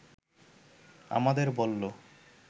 আমাদের বলল